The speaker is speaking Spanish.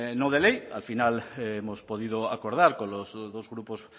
no de ley al final hemos podido acordar con los dos grupos